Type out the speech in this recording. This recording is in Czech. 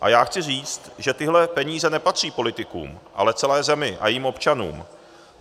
A já chci říct, že tyhle peníze nepatří politikům, ale celé zemi a jejím občanům.